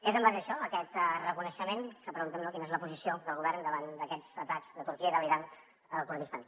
és en base a això aquest reconeixement que preguntem quina és la posició del govern davant d’aquests atacs de turquia i de l’iran al kurdistan